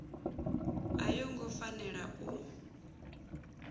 a yo ngo fanela u